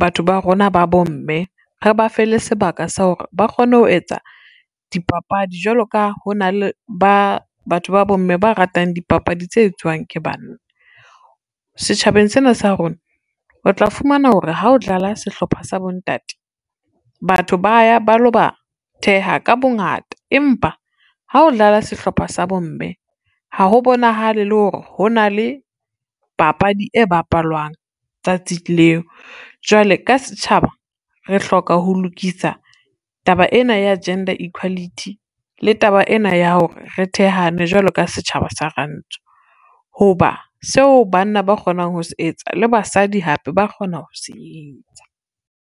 batho ba rona ba bomme re ba fe le sebaka sa hore, ba kgone ho etsa dipapadi jwalo ka ho na le batho ba bomme ba ratang dipapadi tse etswang ke banna. Setjhabeng sena sa rona, o tla fumana hore ha o dlala sehlopha sa bontate, batho ba ya ba lo ba theha ka bongata empa ha o dlala sehlopha sa bomme ha ho bonahale le hore ho na le papadi e bapalwang tsatsi leo. Jwale ka setjhaba re hloka ho lokisa taba ena ya gender equality le taba ena ya hore re thehane jwalo ka setjhaba sa rantsho. Ho ba seo banna ba kgonang ho se etsa le basadi hape ba kgona ho se etsa.